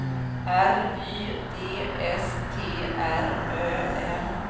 R Y D S T R Ö M